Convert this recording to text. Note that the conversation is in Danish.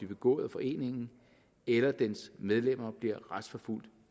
begået af foreningen eller dens medlemmer bliver retsforfulgt